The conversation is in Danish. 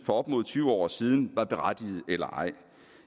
for op mod tyve år siden var berettigede eller ej